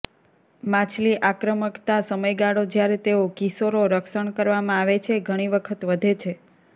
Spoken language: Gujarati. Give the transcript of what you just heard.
માછલી આક્રમકતા સમયગાળો જ્યારે તેઓ કિશોરો રક્ષણ કરવામાં આવે છે ઘણી વખત વધે છે